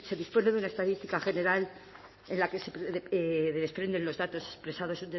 de una estadística general en la que se desprenden los datos expresados